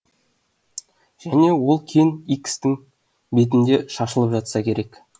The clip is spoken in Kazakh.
және ол кен икстің бетінде шашылып жатса керек